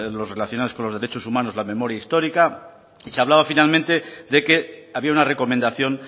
los relacionados con los derechos humanos la memoria histórica y se hablaba finalmente de que había una recomendación